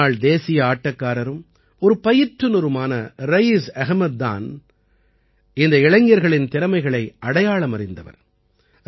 முன்னாள் தேசிய ஆட்டக்காரரும் ஒரு பயிற்றுநருமான ரயீஸ் அஹ்மத் தான் இந்த இளைஞர்களின் திறமைகளை அடையாளமறிந்தவர்